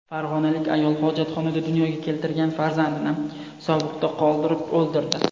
Farg‘onalik ayol hojatxonada dunyoga keltirgan farzandini sovuqda qoldirib o‘ldirdi.